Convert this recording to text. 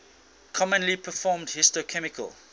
commonly performed histochemical